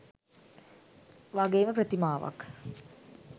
වගේම ප්‍රතිමාවක්